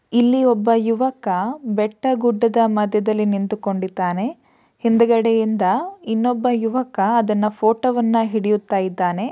ಇಲ್ಲಿ ಒಬ್ಬ ಯುವಕ ಬೆಟ್ಟ ಗುಡ್ಡದ ಮದ್ಯದಲ್ಲಿ ನಿಂತುಕೊಂಡಿದ್ದಾನೆ. ಹಿಂದ್ಗಡೆಯಿಂದ ಇನ್ನೊಬ್ಬ ಯುವಕ ಅದನ್ನ ಫೋಟೋ ವನ್ನ ಹಿಡಿಯುತ್ತ ಇದ್ದಾನೆ.